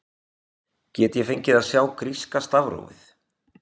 Get ég fengið að sjá gríska stafrófið?